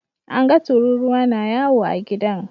An ga tururuwa na yawo a gidan.